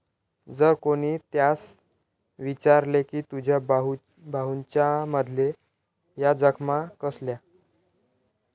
जर कोणी त्यास विचारले की तुझ्या बाहूंच्यामध्ये या जखमा कसल्या?